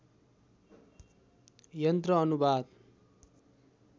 यन्त्र अनुवाद